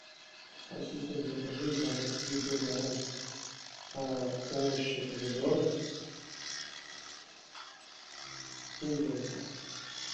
ассистент закажи еду на дом овощи помидоры и яйца